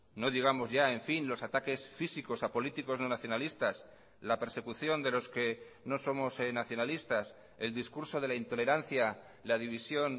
no digamos ya en fin los ataques físicos a políticos no nacionalistas la persecución de los que no somos nacionalistas el discurso de la intolerancia la división